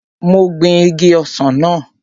Mo gbin igi ọsàn náà